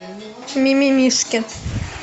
мимимишки